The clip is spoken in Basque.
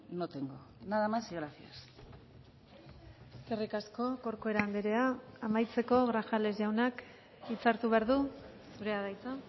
no tengo nada más y gracias eskerrik asko corcuera andrea amaitzeko grajales jaunak hitza hartu behar du zurea da hitza